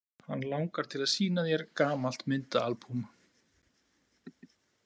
Hann langar til að sýna þér gamalt myndaalbúm.